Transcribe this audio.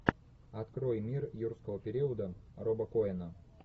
открой мир юрского периода роба коэна